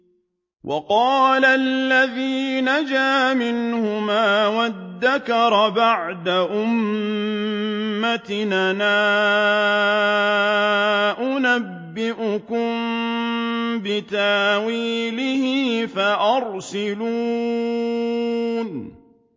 وَقَالَ الَّذِي نَجَا مِنْهُمَا وَادَّكَرَ بَعْدَ أُمَّةٍ أَنَا أُنَبِّئُكُم بِتَأْوِيلِهِ فَأَرْسِلُونِ